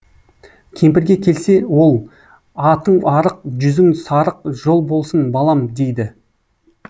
кемпірге келсе ол атың арық жүзің сарық жол болсын балам дейді